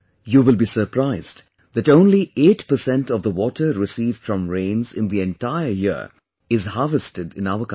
You will be surprised that only 8% of the water received from rains in the entire year is harvested in our country